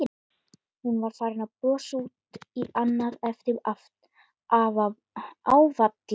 Hún var farin að brosa út í annað eftir áfallið.